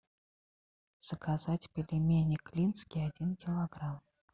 заказать пельмени клинские один килограмм